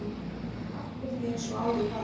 Allt er því eins og áður var.